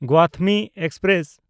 Gautami express